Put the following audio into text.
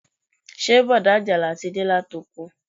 Ṣé bọ̀dá ajala ti de láti oko